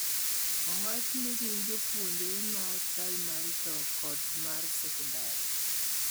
owachni gin jopuonjre ma primary to kod mar secondary